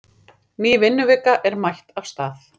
Ný vinnuvika er mætt af stað.